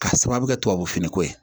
K'a sababu kɛ tubabu finiko ye